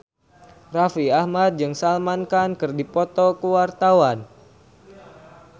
Raffi Ahmad jeung Salman Khan keur dipoto ku wartawan